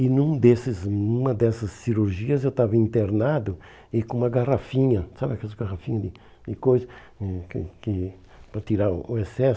E num desses numa dessas cirurgias eu estava internado e com uma garrafinha, sabe aquelas garrafinhas de de coisa hum que que para tirar o excesso?